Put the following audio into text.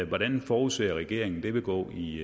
hvordan forudser regeringen det vil gå i